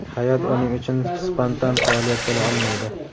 hayot uning uchun spontan faoliyat bo‘la olmaydi.